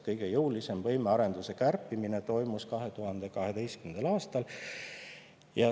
Kõige jõulisem võimearenduse kärpimine toimus 2012. aastal.